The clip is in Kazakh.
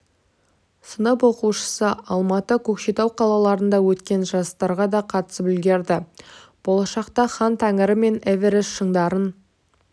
сынып оқушысы алматы көкшетау қалаларында өткен жарыстарға да қатысып үлгерді болашақта хан тәңірі мен эверест шыңдарын